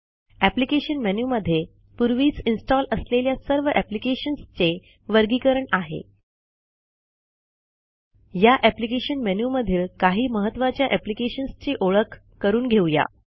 application मेनूमध्ये पूर्वीच install असलेल्या सर्व अप्लिकेशन्सचे वर्गीकरण आहे या अप्लिकेशन मेनू मधील काही महत्त्वाच्या अप्लिकेशन्सची ओळख करून घेऊ या